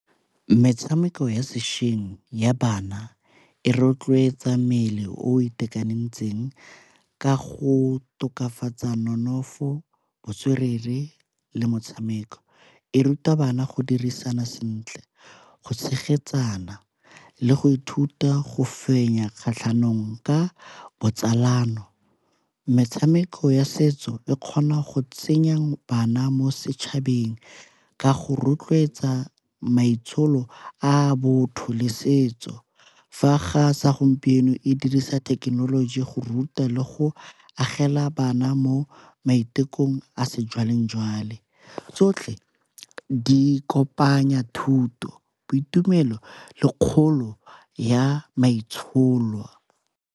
Metshameko ya sešweng ya bana e rotloetsa mmele o itekanetseng ka go tokafatsa nonofo, botswerere le metshameko. E ruta bana go dirisana sentle go tshegetsana le go ithuta go fenya kgatlhanong ka botsalano. Metshameko ya setso e kgona go tsenya bana mo setšhabeng ka go rotloetsa maitsholo a a botho le setso, fa ga sa gompieno e dirisa thekenoloji go ruta le go agela bana mo maitekong a sejwalejwale tsotlhe di kopanya thuto, boitumelo le kgolo ya maitsholo.